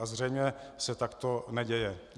A zřejmě se takto neděje.